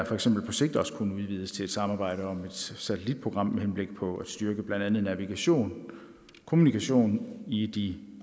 for eksempel på sigt også kunne udvides til et samarbejde om et satellitprogram med henblik på at styrke blandt andet navigation og kommunikation i de